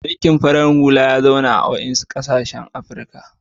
Mulikn farar hula ya zauna a wasu ƙasashen Afrika.